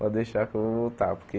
Pode deixar que eu vou voltar, porque...